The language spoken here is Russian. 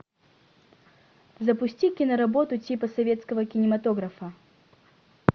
запусти киноработу типа советского кинематографа